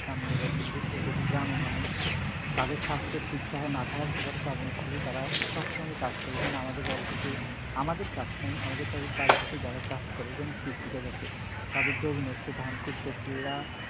কাম নিয়ে ব্যস্ত, বিশেষ করে দেখি গ্রামের মানুষ তাদের স্বাস্থ্য ঠিক থাহা না থাহা সবার কারণ হচ্ছে তারা সবসময় কাজ করে। যেমন আমাদের বাড়িতে আছে আমাদের কাজ কাম, আমাদের বাড়িতে এসে যারা কাজ করে যেমন কৃষিকাজ আছে তাদের জমিন আছে ধান করতেছে এরা